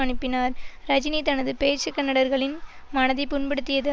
அனுப்பினார் ரஜினி தனது பேச்சு கன்னடர்களின் மனதை புண்படுத்தியது